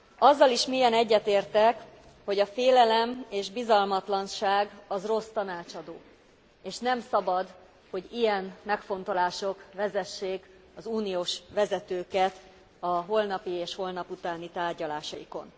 Azzal is mélyen egyetértek, hogy a félelem és bizalmatlanság az rossz tanácsadó, és nem szabad, hogy ilyen megfontolások vezessék az uniós vezetőket a holnapi és holnaputáni tárgyalásaikon.